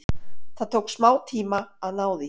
Það tók smá tíma að ná því.